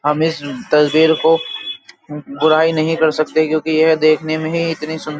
हम इस तस्वीर को बुराई नहीं कर सकते क्योंकि यह देखने मे ही इतनी सुंदर --